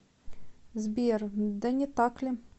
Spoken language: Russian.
сбер да не так ли